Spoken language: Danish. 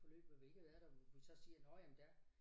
Forløb hvor vi ikke har været der hvor vi så siger nåh ja men der